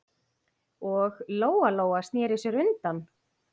Og Lóa-Lóa sneri sér undan.